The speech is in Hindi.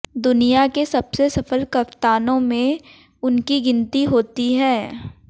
दुनिया के सबसे सफल कप्तानों में उनकी गिनती होती है